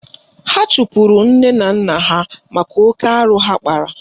Ha chụpụrụ nne na nna ha maka oke arụ ha kpara